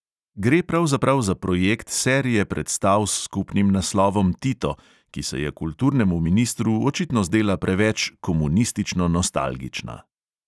Gre pravzaprav za projekt serije predstav s skupnim naslovom tito, ki se je kulturnemu ministru očitno zdela preveč komunistično nostalgična.